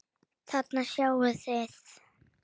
Þarna sjáið þið.